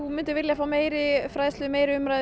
vildir fá meiri fræðslu meiri umræðu